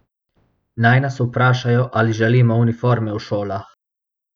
Naj nas vprašajo, ali želimo uniforme v šolah.